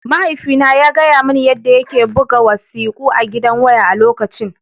Mahaifina ya gaya mani yadda yake buga wasiƙu a gidan waya a lokacin